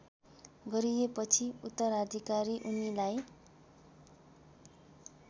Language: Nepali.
गरिएपछि उत्तराधिकारी उनीलाई